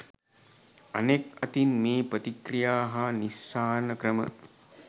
අනෙක් අතින් මේ ප්‍රතික්‍රියා හා නිස්සාරණ ක්‍රම